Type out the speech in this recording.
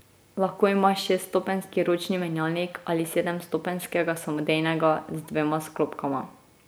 Lahko ima šeststopenjski ročni menjalnik ali sedemstopenjskega samodejnega z dvema sklopkama.